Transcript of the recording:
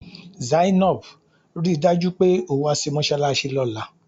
Zainab! Rí i dájú pé o wá sí mọ́ṣáláṣí lọ́la!